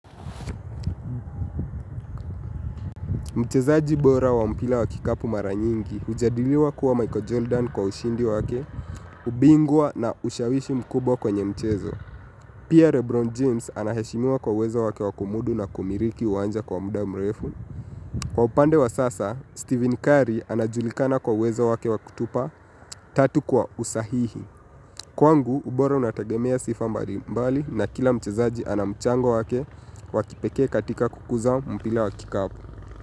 Mchezaji bora wa mpira wa kikapu mara nyingi hujadiliwa kuwa Michael Jordan kwa ushindi wake, ubingwa na ushawishi mkubwa kwenye mchezo. Pia Rebron James anaheshimua kwa uwezo wake wakumudu na kumiliki uwanja kwa muda mrefu. Kwa upande wa sasa steeven kari anajulikana kwa uwezo wake wa kutupa katu kwa usahihi. Kwangu, ubora unatagemea sifa mbalimbali na kila mchezaji ana mchango wake wa kipekee katika kukuza mpira wa kikapu.